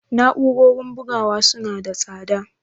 Na'urorin bugawa suna da tsada?